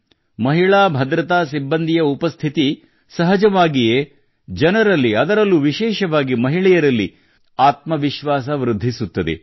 ಮಹಿಳಾ ಭದ್ರತಾ ಸಿಬ್ಬಂದಿಯ ಉಪಸ್ಥಿತಿ ಸಹಜವಾಗಿಯೇ ಜನರಲ್ಲಿ ಅದರಲ್ಲೂ ವಿಶೇಷವಾಗಿ ಮಹಿಳೆಯರಲ್ಲಿ ಆತ್ಮವಿಶ್ವಾಸವನ್ನು ತುಂಬುತ್ತದೆ